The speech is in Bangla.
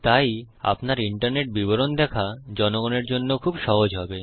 তাই আপনার ইন্টারনেট বিবরণ দেখা জনগনের জন্য খুব সহজ হবে